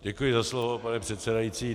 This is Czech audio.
Děkuji za slovo, pane předsedající.